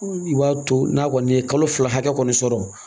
I b'a to n'a kɔni ye kalo fila hakɛ kɔni sɔrɔ